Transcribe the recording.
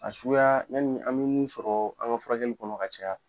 A suguya yani an be min sɔrɔ an ŋa furakɛli kɔnɔ ka caya